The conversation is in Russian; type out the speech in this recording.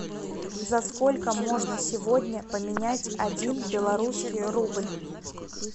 за сколько можно сегодня поменять один белорусский рубль